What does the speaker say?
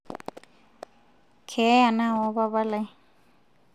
keeya naawa papalai